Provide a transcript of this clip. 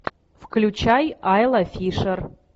включай айла фишер